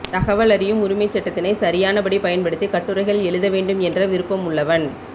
தகவல் அறியும் உரிமைச் சட்டத்தினை சரியானபடி பயன்படுத்தி கட்டுரைகள் எழுத வேண்டும் என்ற விருப்பம் உள்ளவன்